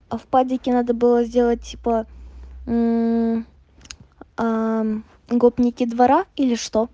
а в падике надо было сделать типа гопники двора или что